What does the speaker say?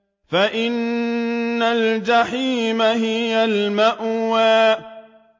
فَإِنَّ الْجَحِيمَ هِيَ الْمَأْوَىٰ